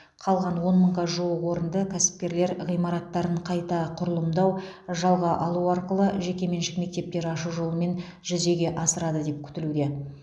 қалған он мыңға жуық орынды кәсіпкерлер ғимараттарын қайта құрылымдау жалға алу арқылы жекеменшік мектептер ашу жолымен жүзеге асырады деп күтілуде